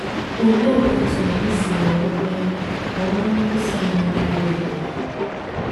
Òlēē òtù ànyì sìwōrū mēē kà òrū ǹkwọ́sà ányì díkwuō ìrē?